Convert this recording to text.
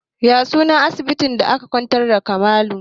Ya sunan asibitin da aka kwantar da Kamalu?